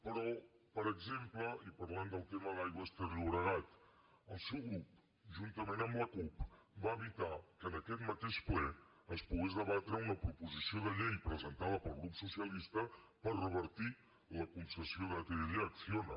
però per exemple i parlant del tema d’aigües ter llobregat el seu grup juntament amb la cup va evitar que en aquest mateix ple es pogués debatre una proposició de llei presentada pel grup socialista per revertir la concessió d’atll a acciona